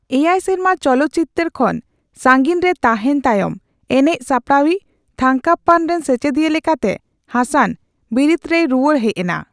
ᱮᱭᱟᱭ ᱥᱮᱨᱢᱟ ᱪᱚᱞᱚᱛᱪᱤᱛᱟᱹᱨ ᱠᱷᱚᱱ ᱥᱟᱹᱜᱤᱧᱨᱮ ᱛᱟᱸᱦᱮᱱ ᱛᱟᱭᱚᱢ, ᱮᱱᱮᱪ ᱥᱟᱯᱲᱟᱣᱤᱡ ᱛᱷᱟᱝᱠᱟᱯᱯᱟᱱ ᱨᱮᱱ ᱥᱮᱪᱮᱫᱤᱭᱟᱹ ᱞᱮᱠᱟᱛᱮ ᱦᱟᱥᱟᱱ ᱵᱤᱨᱤᱛᱨᱮᱭ ᱨᱩᱣᱟᱹᱲ ᱦᱮᱡᱮᱱᱟ ᱾